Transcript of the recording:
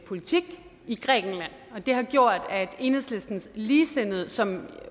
politik i grækenland det har gjort at enhedslistens ligesindede som